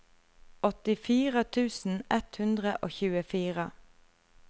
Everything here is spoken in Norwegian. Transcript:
åttifire tusen ett hundre og tjuefire